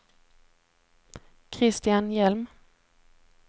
Christian Hjelm